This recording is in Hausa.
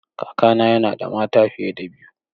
Kakana yana da mata fiye da biyu.